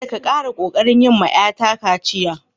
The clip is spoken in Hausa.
Kadda ka tabba kokari yi ma yar ta kaciya!